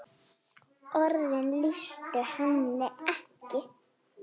Orðin lýstu henni ekki.